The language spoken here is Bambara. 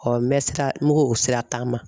n bɛ sira, n bɛ ko o sira taama.